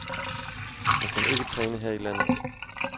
Han kan ikke træne her i landet.